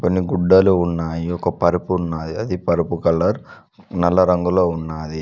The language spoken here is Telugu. కొన్ని గుడ్డలున్నాయి ఒక పరుపు ఉన్నాయి ఆ పరుపు కలర్ నల్ల రంగులో ఉన్నావి.